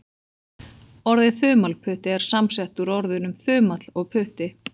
Orðið þumalputti er samsett úr orðunum þumall og putti.